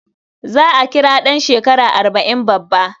Za a kira ɗan shekara arba' in babba.